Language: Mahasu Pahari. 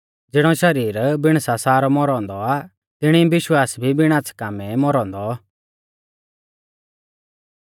ज़िणौ शरीर बिण सासा रौ मौरौ औन्दौ आ तिणी विश्वास भी बिण आच़्छ़ै कामै मौरौ औन्दौ